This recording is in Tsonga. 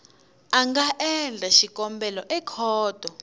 a nga endla xikombelo ekhoto